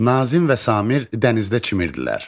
Nazim və Samir dənizdə çimirdilər.